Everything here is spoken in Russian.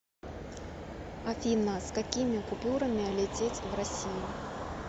афина с какими купюрами лететь в россию